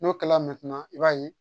N'o kɛla i b'a ye